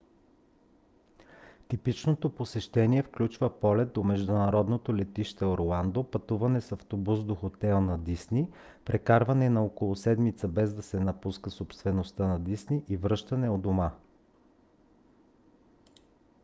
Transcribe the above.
типичното посещение включва полет до международното летище орландо пътуване с автобус до хотел на дисни прекарване на около седмица без да се напуска собствеността на дисни и връщане у дома